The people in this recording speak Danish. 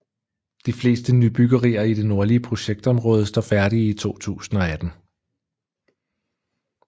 De fleste nybyggerier i det nordlige projektområde står færdige i 2018